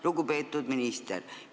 Lugupeetud minister!